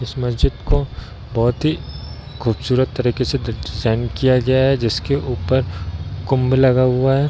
इस मस्जिद को बहुत ही खूबसूरत तरीके से डिज़ाइन किया गया है जिसके ऊपर कुम्भ लग हुआ है।